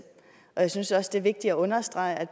og jeg synes det er vigtigt at understrege at